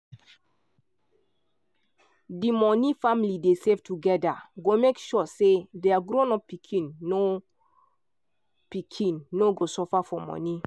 di money family dey save together go make sure say their grown-up pikin no pikin no go suffer for money.